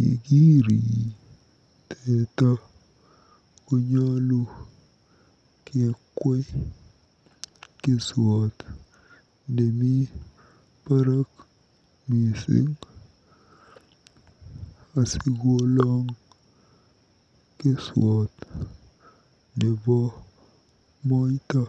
Yekirii teta konolu kekwei keswot nemi barak mising asikoloong keswot nebo moita.